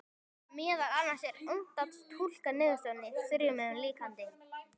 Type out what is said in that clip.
Meðal annars er unnt að túlka niðurstöðurnar í þrívíðu líkani.